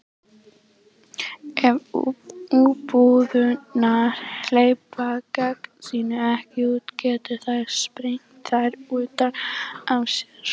ef umbúðirnar hleypa gasinu ekki út getur það sprengt þær utan af sér